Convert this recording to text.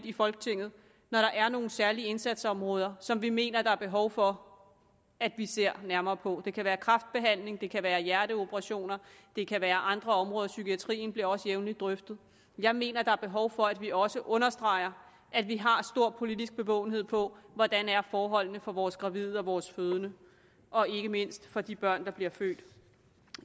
i folketinget når der er nogle særlige indsatsområder som vi mener der er behov for at vi ser nærmere på det kan være kræftbehandling det kan være hjerteoperationer og det kan være andre områder psykiatrien bliver også jævnligt drøftet jeg mener der er behov for at vi også understreger at vi har stor politisk bevågenhed på hvordan forholdene er for vores gravide og vores fødende og ikke mindst for de børn der bliver født